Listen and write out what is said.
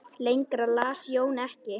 Lengra las Jón ekki.